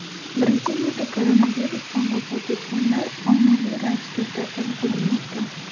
Braziliyada koronavirusdan vafot etganlar ommaviy ravishda dafn qilinmoqda.